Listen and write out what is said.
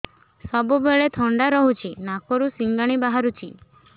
ସବୁବେଳେ ଥଣ୍ଡା ରହୁଛି ନାକରୁ ସିଙ୍ଗାଣି ବାହାରୁଚି